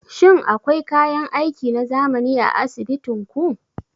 Shin akwai kayan aiki na zamani a asibitin ku?